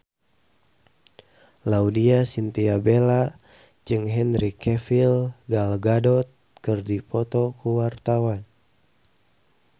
Laudya Chintya Bella jeung Henry Cavill Gal Gadot keur dipoto ku wartawan